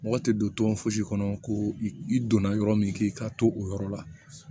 Mɔgɔ tɛ don tɔn fosi kɔnɔ ko i donna yɔrɔ min ki ka to o yɔrɔ la